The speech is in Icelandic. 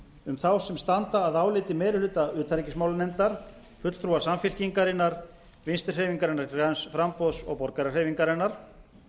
um þá sem standa að áliti meiri hluta utanríkismálanefndar fulltrúa samfylkingarinnar vinstri hreyfingarinnar græns framboðs og borgarahreyfingarinnar